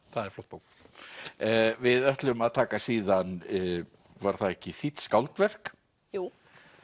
það er flott bók við ætlum að taka síðan var það ekki þýdd skáldverk jú